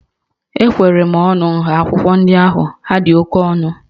Ekwere m ọnụ nha akwụkwọ ndị ahụ, ha dị oke ọnụ